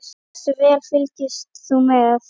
Hversu vel fylgdist þú með?